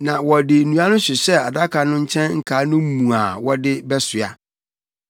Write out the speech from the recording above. Na wɔde nnua no hyehyɛɛ adaka no nkyɛn nkaa no mu wɔde bɛsoa.